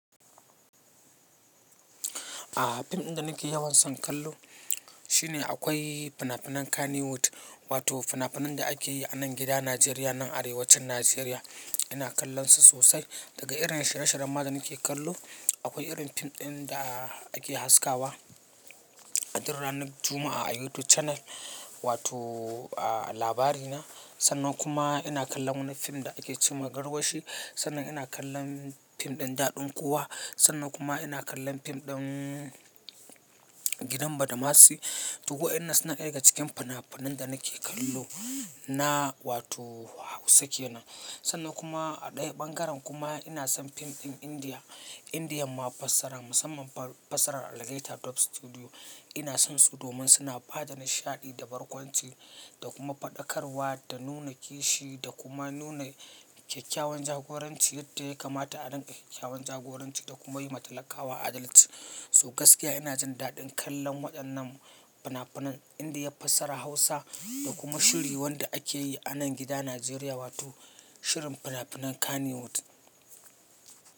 A'a fim ɗin da nake yawan son kallo shine akwai fina-finan Kannywood wato fina-finan da ake yi a nan gida Najeriya nan arewacin Najeriya. Ina kallon su sosai daga irin shira-shiran ma da nake kallo. Akwai irin fim ɗin da ake haskawa a duk ranar Juma'a a YouTube channel wato a labari na. Sannan kuma ina kallon wani fim da ake cema garwashi. Sannan ina kallon fim ɗin daɗin kowa. Sannan kuma ina kallon fim ɗin gidan badamasi. To wadannan su na ɗaya cikin fina-finan da nake kallo na wato Hausa kenan. Sannan kuma a ɗaya ɓangaren kuma ina son fim ɗin Indiya. Indiya mafasara musamman fasarar Algaita Dub Studiyo. Ina son su domin suna bada da nishaɗi da barkwanci da kuma faɗakarwa da nuna kishi da kuma nuna kyakkyawan jagoranci yadda ya kamata a ɗan kyakkyawan jagoranci da kuma yi matalaƙawa adalci. So gaskiya ina jin daɗin kallon waɗannan fina-finan Indiya fasarar Hausa da kuma shiri wanda ake yi a nan gida Najeriya wato shirin fina-finan Kannywood.